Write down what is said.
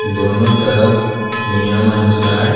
दोनों तरफ नियम अनुसार--